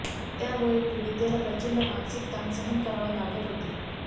त्यामुळे पीडितेला प्रचंड मानसिक ताण सहन करावा लागत होते